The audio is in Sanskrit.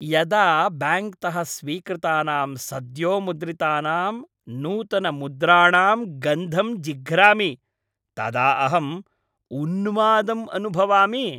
यदा ब्याङ्क्तः स्वीकृतानां सद्योमुद्रितानां नूतनमुद्राणां गन्धं जिघ्रामि तदा अहं उन्मादं अनुभवामि।